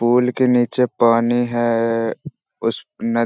pool के नीचे पानी है उस न --